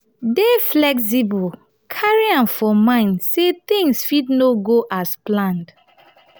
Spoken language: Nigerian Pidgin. dey flexible carry am for mind sey things fit no um go as planned